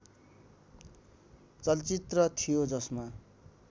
चलचित्र थियो जसमा